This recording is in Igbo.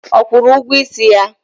Ọ kwụrụ ụgwọ isi ya?